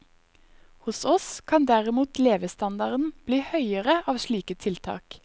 Hos oss kan derimot levestandarden bli høyere av slike tiltak.